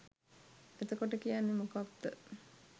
එතකොට කියන්නෙ මොකක්ද?